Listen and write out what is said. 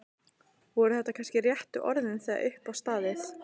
Voru þetta þá kannski réttu orðin þegar upp var staðið?